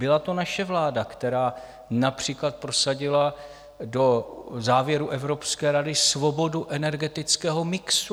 Byla to naše vláda, která například prosadila do závěrů Evropské rady svobodu energetického mixu.